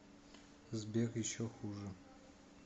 сбер еще хуже